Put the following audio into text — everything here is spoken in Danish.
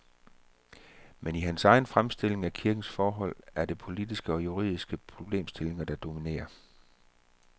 Men i hans egen fremstilling af kirkens forhold er det politiske og juridiske problemstillinger, der dominerer.